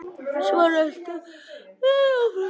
Svo röltu þeir áfram.